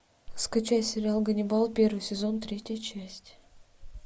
скачай сериал ганнибал первый сезон третья часть